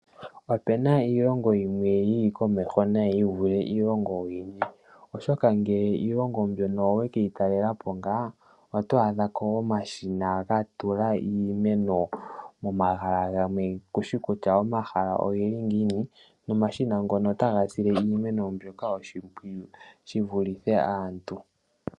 Opena iilogo yimwe yili komeho unene yi vule iilongo iikwawo. Oshoka ngele iilongo mbyono owe keyitalela po otwaadha omashina gatula iimeno meni kushi kutya omashina ngoka ogeli ngiini ihe omashina ngoka otaga sile iimeno oshimpwiyu shi vulithe aantu.